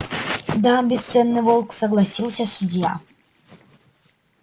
да бесценный волк согласился судья